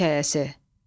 Talah hekayəsi.